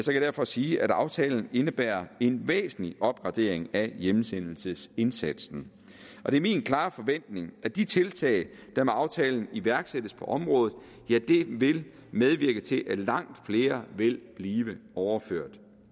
jeg derfor sige at aftalen indebærer en væsentlig opgradering af hjemsendelsesindsatsen og det er min klare forventning at de tiltag der med aftalen iværksættes på området vil medvirke til at langt flere vil blive overført